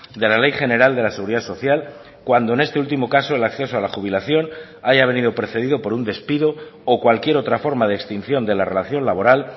de la ley general de la seguridad social cuando en este último caso el acceso a la jubilación haya venido precedido por un despido o cualquier otra forma de extinción de la relación laboral